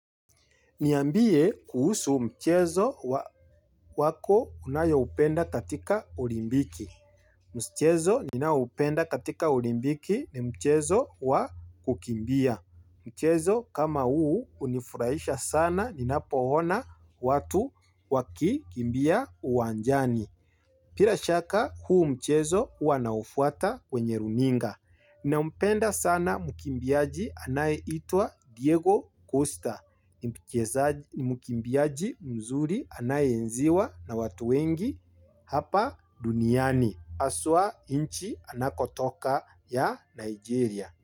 Niambie kuhusu mchezo wako unayo upenda katika olimpiki. Mchezo ninaoupenda katika olimpiki ni mchezo wa kukimbia. Mchezo kama huu hunifurahisha sana ninapo ona watu waki kimbia uwanjani. Bila shaka huu mchezo huwa naufuata kwenye runinga. Nampenda sana mkimbiaji anaye itwa Diego Costa. Ni mkimbiaji mzuri anaye enziwa na watu wengi hapa duniani. Aswa nchi anakotoka ya Nigeria.